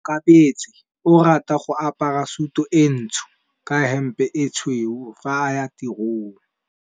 Onkabetse o rata go apara sutu e ntsho ka hempe e tshweu fa a ya tirong.